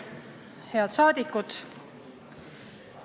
Head rahvasaadikud!